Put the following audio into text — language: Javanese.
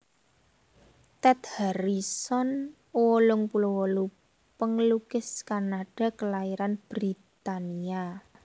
Ted Harrison wolung puluh wolu panglukis Kanada kalairan Britania